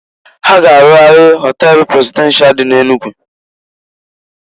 Ha ga-arụgharị họtel prezidenshal dị n'Enugu.